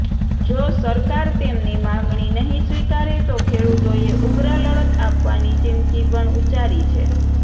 જો સરકાર તેમની માંગણી નહીં સ્વીકારે તો ખેડૂતોએ ઉગ્ર લડત આપવાની ચિમકી પણ ઉચ્ચારી છે